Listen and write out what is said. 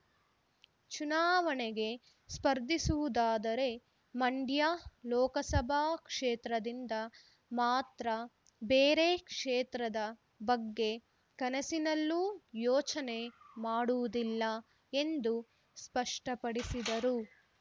ಚುನಾವಣೆಗೆ ಸ್ಪರ್ಧಿಸುವುದಾದರೆ ಮಂಡ್ಯ ಲೋಕಸಭಾ ಕ್ಷೇತ್ರದಿಂದ ಮಾತ್ರ ಬೇರೆ ಕ್ಷೇತ್ರದ ಬಗ್ಗೆ ಕನಸಿನಲ್ಲೂ ಯೋಚನೆ ಮಾಡುವುದಿಲ್ಲ ಎಂದು ಸ್ಪಷ್ಟಪಡಿಸಿದರು